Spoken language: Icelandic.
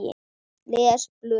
Les blöðin.